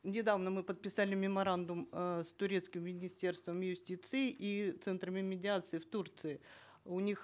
недавно мы подписали меморандум э с турецким министерством юстиции и центрами медиации в турции у них